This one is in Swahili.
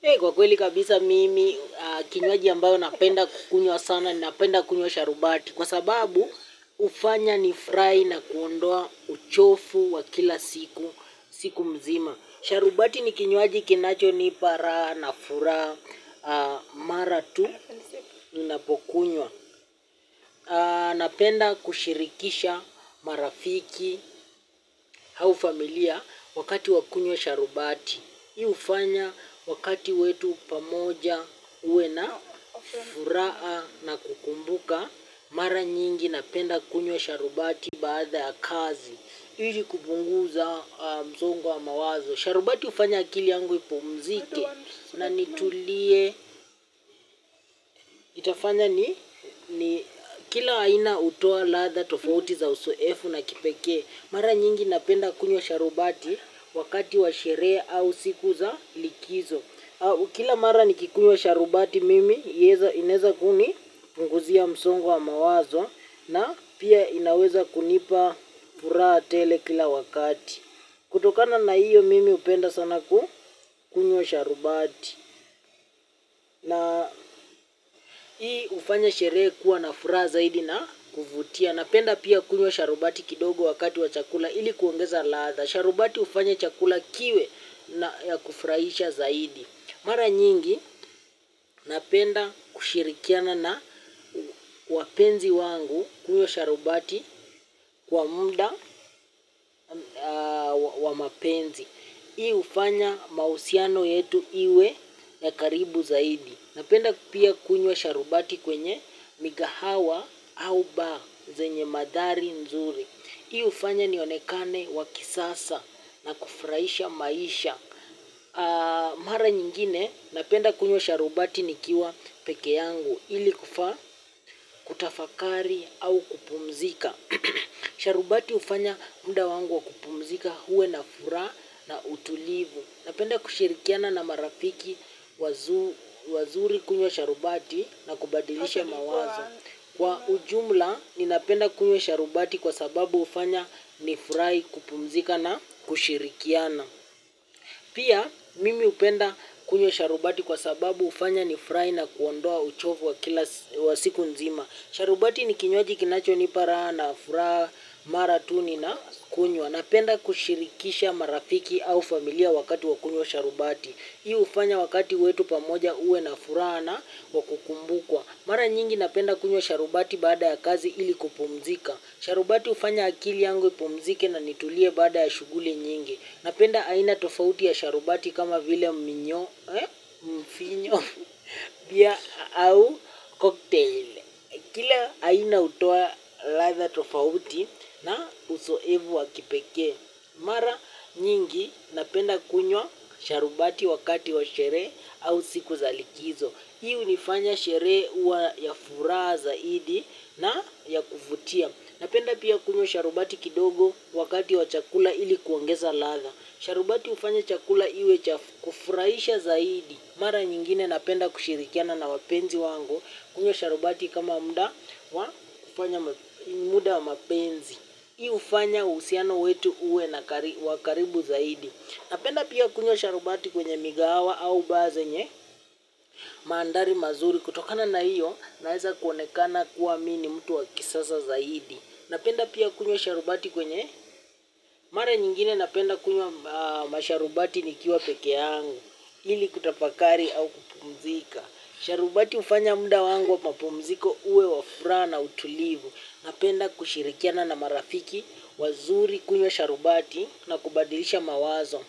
Kusema kweli kabisa mimi kinywaji ambayo napenda kukunywa sana ninapenda kunywa sharubati. Kwa sababu, ufanya nifrai na kuondoa uchofu wa kila siku, siku mzima. Sharubati ni kinywaji kinachonipa, raha na furaha, mara tu, ninapokunywa. Napenda kushirikisha marafiki, hau familia, wakati wa kunywa sharubati. Hii ufanya wakati wetu pamoja uwe na, furaa na kukumbuka, mara nyingi napenda kunywa sharubati baadha ya kazi. Ili kubunguza mzongo wa mawazo. Sharubati hufanya akili yangu ipumzike na nitulie. Itafanya ni kila aina utoa ladha tofauti za usoefu na kipekee. Mara nyingi napenda kunywa sharubati wakati wa sherehe au siku za likizo. Kila mara nikikunywa sharubati mimi, inaeza kunipunguzia msongo wa mawazo na pia inaweza kunipa puraha tele kila wakati. Kutokana na iyo mimi upenda sana kukunywa sharubati. Na ii ufanya sherehe kuwa na furaha zaidi na kuvutia. Napenda pia kunywa sharubati kidogo wakati wa chakula ili kuongeza ladha. Sharubati ufanya chakula kiwe na ya kufraisha zaidi. Mara nyingi, napenda kushirikiana na wapenzi wangu kunywa sharubati kwa mnda wa mapenzi. Ii ufanya mausiano yetu iwe ya karibu zaidi. Napenda pia kunywa sharubati kwenye migahawa au bar zenye madhari nzuri. Ii ufanya nionekane wa kisasa na kufraisha maisha. Mara nyingine napenda kunywa sharubati nikiwa peke yangu ili kufaa kutafakari au kupumzika sharubati ufanya mda wangu wa kupumzika huwe na furaha na utulivu napenda kushirikiana na marafiki wazu wazuri kunywa sharubati na kubadilisha mawazo. Kwa ujumla ninapenda kunywa sharubati kwa sababu ufanya nifurai kupumzika na kushirikiana. Pia mimi upenda kunywa sharubati kwa sababu ufanya nifrai na kuondoa uchovu wa siku nzima. Sharubati ni kinywaji kinachonipa raha na furaha mara tu ninakunywa napenda kushirikisha marafiki au familia wakati wa kunywa sharubati ii ufanya wakati wetu pamoja uwe na furaha na wa kukumbukwa. Mara nyingi napenda kunywa sharubati baada ya kazi ili kupumzika. Sharubati ufanya akili yangu ipumzike na nitulie baada ya shughuli nyingi. Napenda aina tofauti ya sharubati kama vile mfinyo pia au koktail. Aina utoa ladha tofauti na usoevu wa kipekee. Mara nyingi napenda kunywa sharubati wakati wa sherehe au siku za likizo. Ii unifanya sherehe uwa ya furaha zaidi na ya kuvutia. Napenda pia kunywa sharubati kidogo wakati wa chakula ili kuongeza ladha. Sharubati ufanya chakula iwe cha kufuraisha zaidi. Mara nyingine napenda kushirikiana na wapenzi wangu kunywa sharubati kama mda wa mapenzi. Iu ufanya uhusiano wetu uwe na wa karibu zaidi. Napenda pia kukunywa sharubati kwenye migahawa au bar zenye maandhari mazuri. Kutokana na iyo naeza kuonekana kuwa mi ni mtu wa kisaza zaidi. Napenda pia kunywa sharubati kwenye mara nyingine napenda kunywa masharubati nikiwa peke yangu. Ili kutapakari au kupumzika. Sharubati ufanya mda wangu wa mapumziko uwe wa furaha na utulivu. Napenda kushirikiana na marafiki wazuri kunywa sharubati na kubadilisha mawazo.